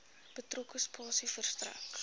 betrokke spasie verstrek